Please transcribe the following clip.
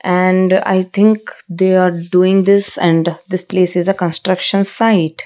and i think they are doing this and this place is a construction site.